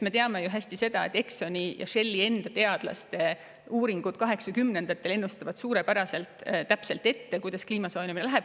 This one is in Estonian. Me teame ju hästi, et Exxoni ja Shelli enda teadlaste 1980-ndatel tehtud uuringud on ennustanud suurepäraselt täpselt ette, kuidas kliima soojenemisega hakkab minema.